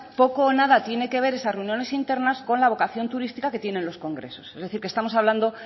poco o nada tiene que ver esas reuniones internas con la vocación turística que tienen los congresos es decir que estamos hablando